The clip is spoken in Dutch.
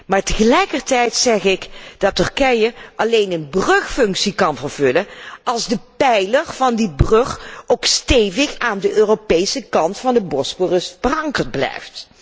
regio. Maar tegelijkertijd zeg ik dat Turkije alleen een brugfunctie kan vervullen als de pijler van die brug ook stevig aan de Europese kant van de Bosporus verankerd